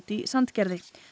í Sandgerði